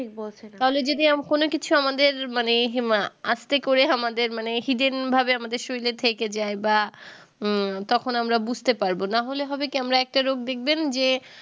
তাহলে যদি আম কোনো কিছু আমাদের মানে হিমা আসতে করে আমাদের মানে hidden ভাবে আমাদের শরীরে থেকে যাই বা তখন আমরা বুঝতে পারবো না হলে হবে কি আমরা একটা রোগ দেখবেন যে